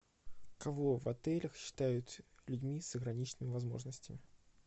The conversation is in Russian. кого в отелях считают людьми с ограниченными возможностями